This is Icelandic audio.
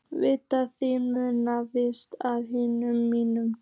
Vit þín munu fyllast af ilmi mínum.